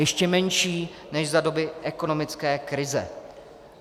Ještě menší než za doby ekonomické krize.